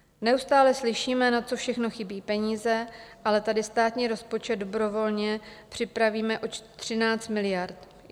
Neustále slyšíme, na co všechno chybí peníze, ale tady státní rozpočet dobrovolně připravíme o 13 miliard.